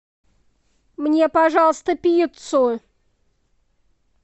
мне пожалуйста пиццу